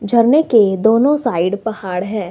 झरने के दोनों साइड पहाड़ है।